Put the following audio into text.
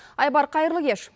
айбар қайырлы кеш